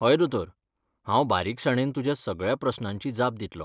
हय दोतोर! हांव बारीकसाणेन तुज्या सगळ्या प्रस्नांची जाप दितलों.